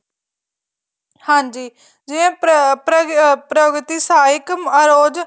ਹਾਂਜੀ ਜਿਵੇਂ ਪ੍ਰਗਤੀ ਸਾਹਿਕ ਅਰੋਜ